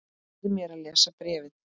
Leyfðu mér að lesa bréfið